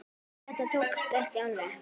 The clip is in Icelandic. Þetta tókst ekki alveg.